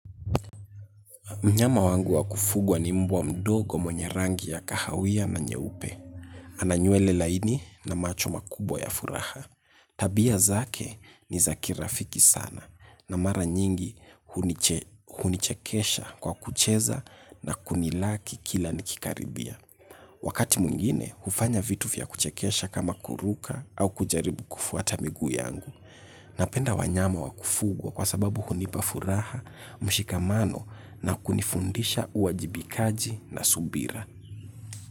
Mnyama wangu wakufugwa ni mbwa mdogo mwenye rangi ya kahawia na nyeupe. Ana nywele laini na macho makubwa ya furaha. Tabia zake ni za kirafiki sana na mara nyingi hunichekesha kwa kucheza na kunilaki kila nikikaribia. Wakati mwingine, hufanya vitu vya kuchekesha kama kuruka au kujaribu kufuata miguu yangu. Napenda wanyama wa kufugwa kwa sababu hunipa furaha, mshikamano na kunifundisha uwajibikaji na subira.